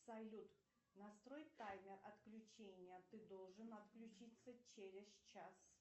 салют настрой таймер отключения ты должен отключиться через час